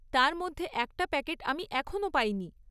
তার মধ্যে একটা প্যাকেট আমি এখনও পাইনি।